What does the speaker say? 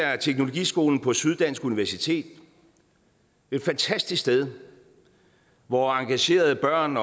teknologiskolen på syddansk universitet et fantastisk sted hvor engagerede børn